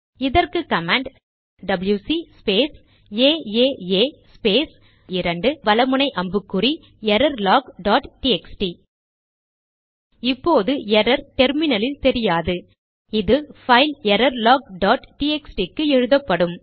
இதற்கு command WC space AAA space 2 வல முனை அம்புக்குறி எரர்லாக் டாட் டிஎக்ஸ்டி இப்போது எரர் டெர்மினலில் தெரியாது அது பைல் எரர்லாக் டாட் டிஎக்ஸ்டி க்கு எழுதப்படும்